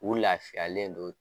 U lafiyalen don